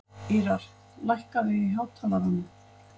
Ýrar, lækkaðu í hátalaranum.